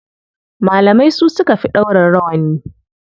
Malamai su suka fi ɗaura rawani.